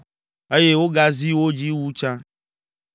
eye wogazi wo dzi wu tsã.